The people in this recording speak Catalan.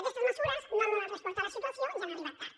aquestes mesures no han donat resposta a la situació i han arribat tard